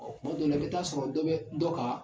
Ɔɔ kuma dow la i bi taa sɔrɔ dɔ be dɔ kan